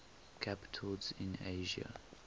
capitals in asia